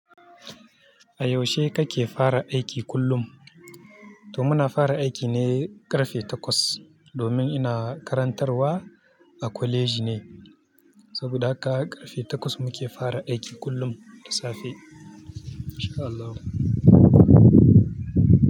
A yaushe kake fara aiki kullum? To muna fara aiki ne ƙarfe takwas. Domin ina karantarwa a kwaleji ne, saboda haka ƙarfe takwas muke fara aiki kullum da safe. Masha Allah.